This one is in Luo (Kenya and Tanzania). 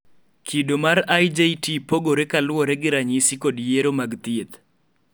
kido ma IJT pogore kaluore gi ranyisi kod yiero mag thieth